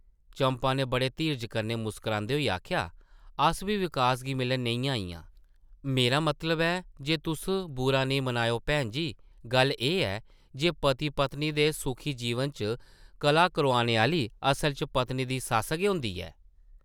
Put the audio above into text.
चंपा नै बड़े धीरजै कन्नै मुस्करांदे होई आखेआ, ‘‘अस बी विकास गी मिलन नेईं आइयां... मेरा मतलब ऐ जे तुस बुरा नेईं मनाएओ भैन जी, गल्ल एह् ऐ जे पति पत्नी दे सुखी जीवन च कलह करोआने आह्ली असल च पत्नी दी सस्स गै होंदी ऐ ।